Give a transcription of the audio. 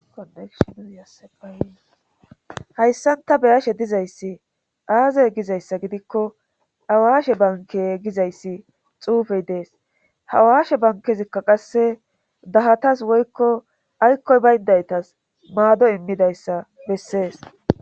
oesyhayssanta beyashe dizayssi aazey gizayssa gidikko awaashe banke gizayssi xuufey dees hawaashe bankezikka qasse dahatas woykko aykkoy bayndaytas maado immidayssa bessees